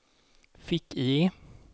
fick-IE